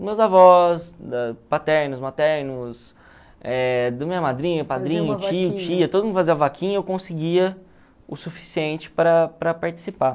Meus avós, paternos, maternos, do minha madrinha, padrinho, tio, tia, todo mundo fazia vaquinha e eu conseguia o suficiente para para participar.